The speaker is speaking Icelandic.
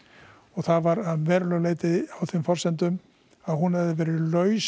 og það var af verulegu leyti á þeim forsendum að hún hefði verið laus